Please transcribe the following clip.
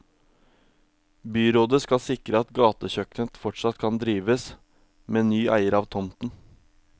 Byrådet skal sikre at gatekjøkkenet fortsatt kan drives, med ny eier av tomten.